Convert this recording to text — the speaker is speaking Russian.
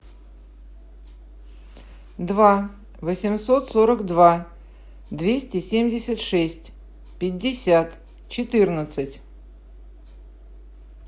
два восемьсот сорок два двести семьдесят шесть пятьдесят четырнадцать